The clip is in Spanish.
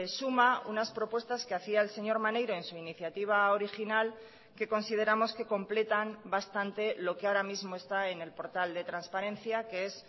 suma unas propuestas que hacía el señor maneiro en su iniciativa original que consideramos que completan bastante lo que ahora mismo está en el portal de transparencia que es